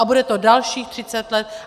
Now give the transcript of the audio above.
A bude to dalších 30 let.